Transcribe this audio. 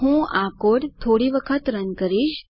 હું આ કોડ થોડા વખત રન કરીશ